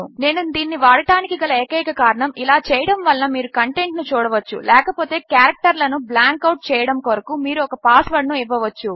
నేను దీనిని వాడడానికి కల ఎకైనక కారణము ఇలా చేయడము వలన మీరు కంటెంట్ ను చూడవచ్చు లేక పోతే కారెక్టర్ లను బ్లాంక్ అవుట్ చేయడము కొరకు మీరు ఒక పాస్ వర్డ్ ను ఇవ్వవచ్చు